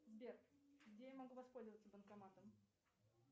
сбер где я могу воспользоваться банкоматом